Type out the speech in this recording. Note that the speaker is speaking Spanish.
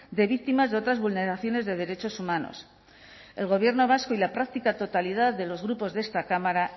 de víctimas de otras vulneraciones de derechos humanos el gobierno vasco y la práctica totalidad de los grupos de esta cámara